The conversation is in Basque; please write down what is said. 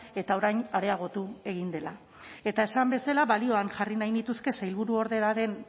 eta orain areagotu egin dela eta esan bezala balioan jarri nahi nituzke sailburuordearen